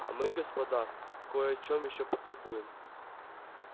а мы господа кой о чём ещё потолкуем